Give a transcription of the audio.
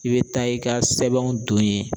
I bɛ taa i ka sɛbɛnw don ye